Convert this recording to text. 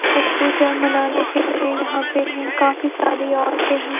छठ पूजा मनाने के लिये यहाँ पे हैं काफी सारी औरते हैं।